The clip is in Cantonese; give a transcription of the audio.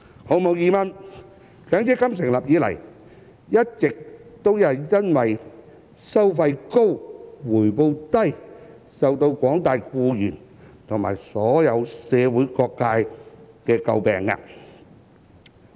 毫無疑問，強積金成立以來，一直都因為"收費高、回報低"而為廣大僱員及社會各界所詬病。